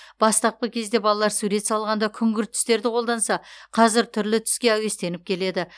бастапқы кезде балалар сурет салғанда күңгірт түстерді қолданса қазір түрлі түске әуестеніп келеді